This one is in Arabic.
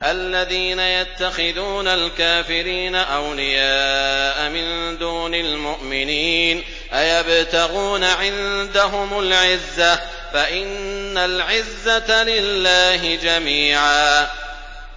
الَّذِينَ يَتَّخِذُونَ الْكَافِرِينَ أَوْلِيَاءَ مِن دُونِ الْمُؤْمِنِينَ ۚ أَيَبْتَغُونَ عِندَهُمُ الْعِزَّةَ فَإِنَّ الْعِزَّةَ لِلَّهِ جَمِيعًا